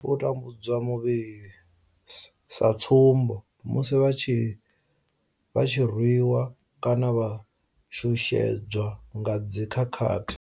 U tambudzwa muvhili sa tsumbo, musi vha tshi rwiwa kana u shushedzwa nga dzi khakhathi.